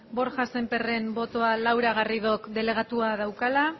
borja sémperren botoa laura garridok delegatua daukala